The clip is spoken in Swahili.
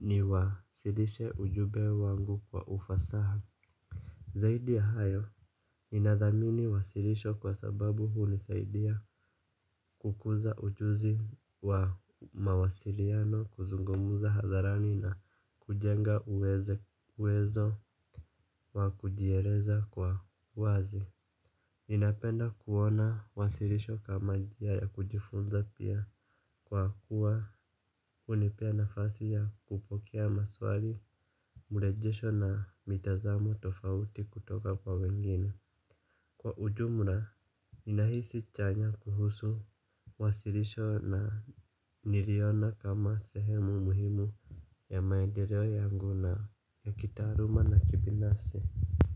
niwasilishe ujube wangu kwa ufasaha. Zaidi ya hayo, ninathamini wasirisho kwa sababu hunisaidia kukuza ujuzi wa mawasiriano kuzungumza hadharani na kujenga uwezo wa kujieleza kwa uwazi ninapenda kuona wasirisho kama njia ya kujifunza pia kwa kuwa hunipea nafasi ya kupokea maswali urejesho na mitazamo tofauti kutoka kwa wengine. Kwa ujumra ninahisi chanya kuhusu wasirisho na niliona kama sehemu muhimu ya maedereo yangu na ya kitaaruma na kibinafsi.